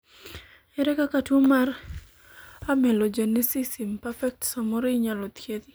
ere kaka tuo mar amelogenesis imperfect samoro inyalo thiedhi